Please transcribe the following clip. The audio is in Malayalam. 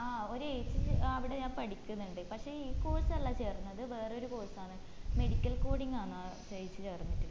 ആഹ് ഒരേച്ചി അഹ് അവിടെ ആഹ് പഠികിന്നിൻണ്ട് പക്ഷെ ഈ course അല്ല ചേർന്നത് വേറെ ഒരു course ആണ് medical coding ന്ന് ആ ചേച്ചി ചേർന്നിട്ടുള്ളത്